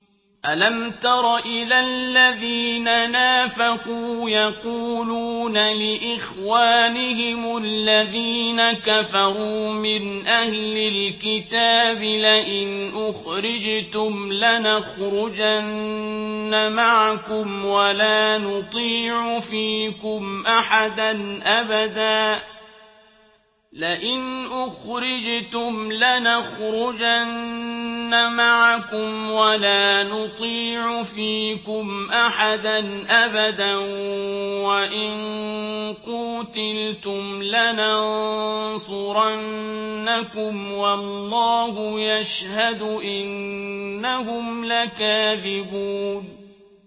۞ أَلَمْ تَرَ إِلَى الَّذِينَ نَافَقُوا يَقُولُونَ لِإِخْوَانِهِمُ الَّذِينَ كَفَرُوا مِنْ أَهْلِ الْكِتَابِ لَئِنْ أُخْرِجْتُمْ لَنَخْرُجَنَّ مَعَكُمْ وَلَا نُطِيعُ فِيكُمْ أَحَدًا أَبَدًا وَإِن قُوتِلْتُمْ لَنَنصُرَنَّكُمْ وَاللَّهُ يَشْهَدُ إِنَّهُمْ لَكَاذِبُونَ